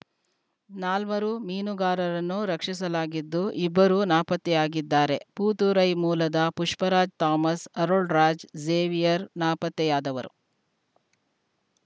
ನಾಲ್ವರು ಮೀನುಗಾರರನ್ನು ರಕ್ಷಿಸಲಾಗಿದ್ದು ಇಬ್ಬರು ನಾಪತ್ತೆಯಾಗಿದ್ದಾರೆ ಪೂತುರೈ ಮೂಲದ ಪುಷ್ಪರಾಜ್‌ ಥಾಮಸ್‌ ಅರುಳರಾಜ್‌ ಝೇವಿಯರ್‌ ನಾಪತ್ತೆಯಾದವರು